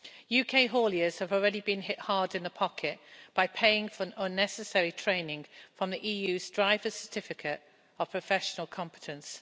UK hauliers have already been hit hard in the pocket by paying for unnecessary training from the EU's Driver Certificate of Professional Competence.